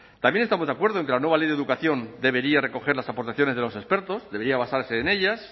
también estamos de acuerdo en que la nueva ley de educación debería recoger las aportaciones de los expertos debería basarse en ellas